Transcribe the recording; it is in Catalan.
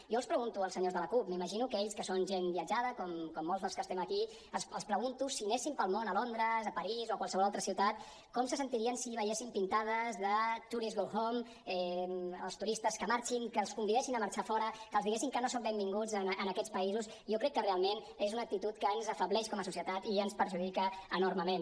jo els pregunto als senyors de la cup m’imagino que ells que són gent viatjada com molts dels que estem aquí els pregunto si anessin pel món a londres a parís o a qualsevol altra ciutat com se sentirien si veiessin pintades de tourist go home els turistes que marxin que els convidessin a marxar a fora que els diguessin que no són benvinguts en aquests països jo crec que realment és una actitud que ens afebleix com a societat i ens perjudica enormement